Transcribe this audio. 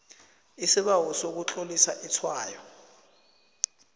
isibawo sokutlolisa itshwayo